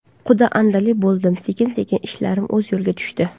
Quda-andali bo‘ldim, sekin-sekin ishlarim o‘z yo‘liga tushdi”.